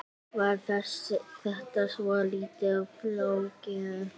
Var þetta svolítið flókið?